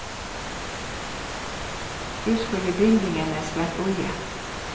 Husk å gi bindingene en skvett olje.